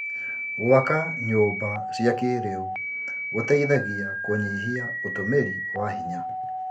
Gwaka nyũmba cia kĩrĩu gũteithagia kũnyihia ũtũmĩri wa hinya.